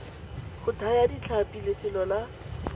go thaya ditlhapi lefelo la